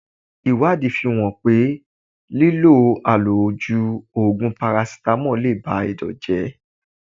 Ìwádìí fi hàn pé lílọ àlòjù Ògùn Parasítámọ̀ le ba Ẹ̀dọ̀ jẹ́.